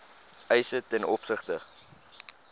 eise ten opsigte